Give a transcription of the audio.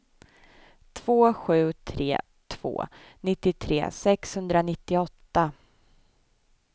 två sju tre två nittiotre sexhundranittioåtta